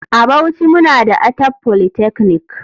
A bauchi muna da Atap polytechnic.